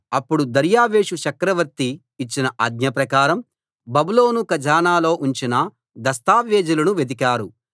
అప్పుడు దర్యావేషు చక్రవర్తి ఇచ్చిన ఆజ్ఞ ప్రకారం బబులోను ఖజానాలో ఉంచిన దస్తావేజులను వెదికారు